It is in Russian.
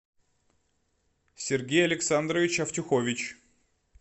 сергей александрович автюхович